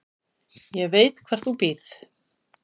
Ég veit hvar þú býrð